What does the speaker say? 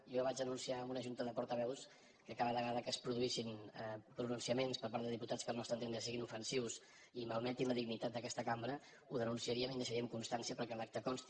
jo vaig anunciar en una junta de portaveus que cada vegada que es produïssin pronunciaments per part de diputats que al nostre entendre siguin ofensius i malmetin la dignitat d’aquesta cambra ho denunciaríem i que en deixaríem constància perquè en l’acta consti